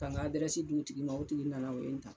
Ka n ka di o tigi ma tigi nana o ye n ta